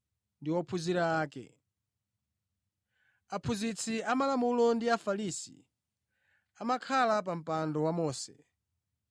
“Aphunzitsi amalamulo ndi Afarisi amakhala pa mpando wa Mose.